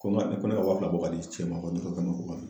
Ko n ka ko ne ka waa fila bɔ ka di cɛ ma ko ni ko ka na ko ka don